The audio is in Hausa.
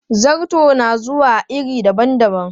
Zarto na zuwa a iri dabam dabam.